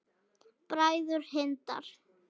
Bræður Hindar